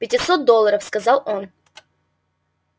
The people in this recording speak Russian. пятисот долларов сказал он